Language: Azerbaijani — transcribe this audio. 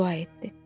deyə dua etdi.